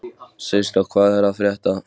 Systa, hvað er að frétta?